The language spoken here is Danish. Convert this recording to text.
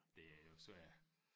Det er jo svært